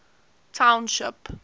township